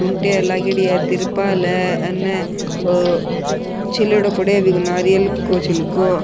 टूंटिया लागेडी हैं तिरपाल है अन ओ छीलेडो पड़ो है बिको नारियल को छीलको।